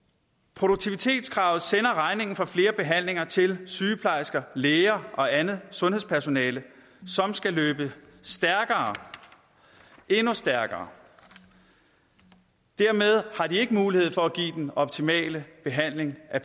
produktivitetskravet sender regningen for flere behandlinger til sygeplejersker læger og andet sundhedspersonale som skal løbe stærkere endnu stærkere dermed har de ikke mulighed for at give den optimale behandling af